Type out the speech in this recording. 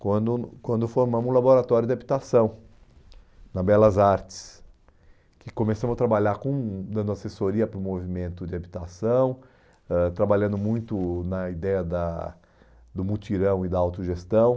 quando quando formamos um laboratório de habitação na Belas Artes, que começamos a trabalhar com dando assessoria para o movimento de habitação, ãh trabalhando muito na ideia da do mutirão e da autogestão.